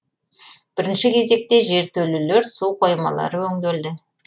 бірінші кезекте жертөлелер су қоймалары өңделді